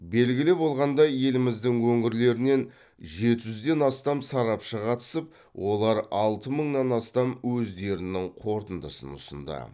белгілі болғандай еліміздің өңірлерінен жеті жүзден астам сарапшы қатысып олар алты мыңнан астам өздерінің қорытындысын ұсынды